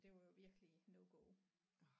Det var jo virkelig no go